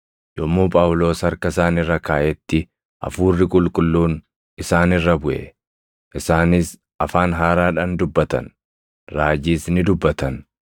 Yommuu Phaawulos harka isaan irra kaaʼetti Hafuurri Qulqulluun isaan irra buʼe; isaanis afaan haaraadhaan dubbatan; raajiis ni dubbatan.